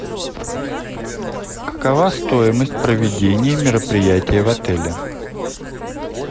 какова стоимость проведения мероприятия в отеле